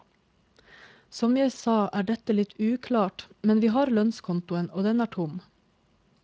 Som jeg sa er dette litt uklart, men vi har lønnskontoen og den er tom.